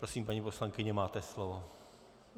Prosím, paní poslankyně, máte slovo.